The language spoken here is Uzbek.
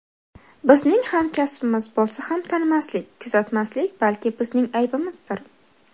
Bizning hamkasbimiz bo‘lsa ham tanimaslik, kuzatmaslik balki bizning aybimizdir.